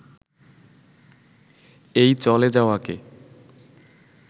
এই চলে যাওয়াকে